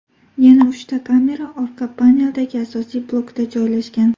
Yana uchta kamera orqa paneldagi asosiy blokda joylashgan.